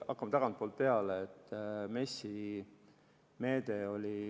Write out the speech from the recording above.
Hakkame tagantpoolt peale.